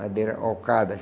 Madeira alcada.